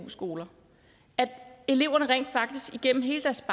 skoler at eleverne rent faktisk igennem hele deres